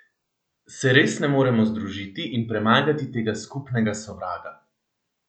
Se res ne moremo združiti in premagati tega skupnega sovraga?